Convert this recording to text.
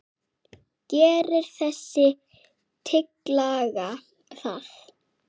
Gerir þessi tillaga það?